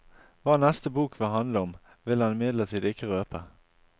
Hva neste bok vil handle om, vil han imidlertid ikke røpe.